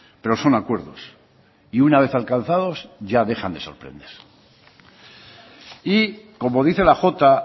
pero son acuerdos y una vez alcanzados ya dejan de sorprender y como dice la jota